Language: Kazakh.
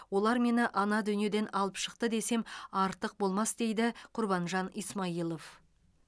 олар мені ана дүниеден алып шықты десем артық болмас дейді құрбанжан исмаилов